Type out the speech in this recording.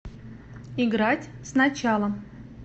играть сначала